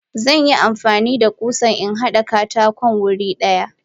Zanyi amfanida kusa inhada katakon wuri daya.